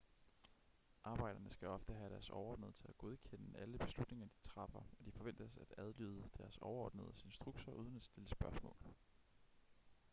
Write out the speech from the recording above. arbejderne skal ofte have deres overordnede til at godkende alle beslutninger de træffer og de forventes at adlyde deres overordnedes instrukser uden at stille spørgsmål